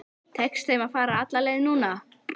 Tekst þeim að fara alla leið núna?